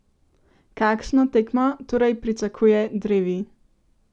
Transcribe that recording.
Kakšno tekmo torej pričakuje drevi?